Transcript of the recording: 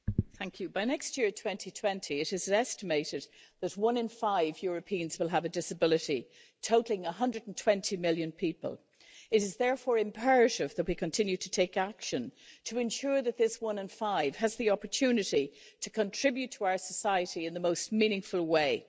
Mr President, by next year, 2020, it is estimated that one in five Europeans will have a disability, totalling 120 million people. It is therefore imperative that we continue to take action to ensure that those one-in-five people have the opportunity to contribute to our society in the most meaningful way.